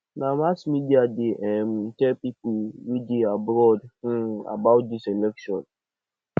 na mass media dey um tell pipo wey dey abroad um about dis election